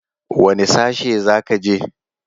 Wane sashe za ka je?